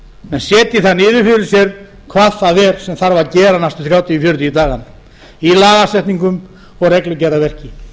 menn setji það niður fyrir sér hvað það er sem þarf að gera næstu þrjátíu til fjörutíu dagana í lagasetningum og reglugerðarverki